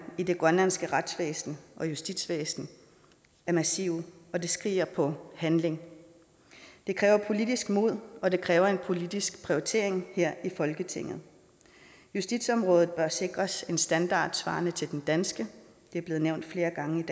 i det grønlandske retsvæsen og justitsvæsen er massive og det skriger på handling det kræver politisk mod og det kræver en politisk prioritering her i folketinget justitsområdet bør sikres en standard svarende til den danske det er blevet nævnt flere gange i